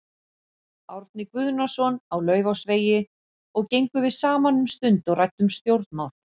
Árna Guðnason á Laufásvegi og gengum við saman um stund og ræddum um stjórnmál.